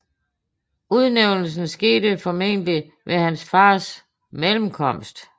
Udnævnelsen skete formentlig ved hans fars mellemkomst